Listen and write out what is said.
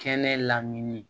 Kɛnɛ lamini